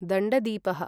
दण्डदीपः